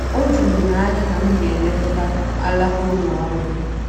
O juru m anya na m ga-elekọta alaka ụlọ ọrụ.